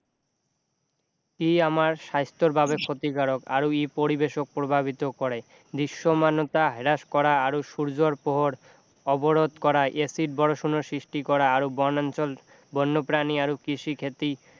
ই আমাৰ স্বাস্থ্যৰ বাবে ক্ষতিকাৰৰ আৰু ই পৰিবেশক প্ৰভাৱিত কৰে দৃশ্যমানতা হ্ৰাস কৰা আৰু সূৰ্য্যৰ পোহৰ অৱৰোধ কৰা এচিড বৰষুণৰ সৃষ্টি কৰা আৰু বনাঞ্চল বন্যপ্ৰাণী আৰু কৃষি খেতি